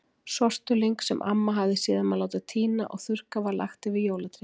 Sortulyng, sem amma hafði séð um að láta tína og þurrka, var lagt yfir jólatréð.